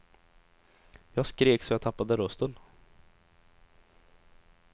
Jag skrek så jag tappade rösten.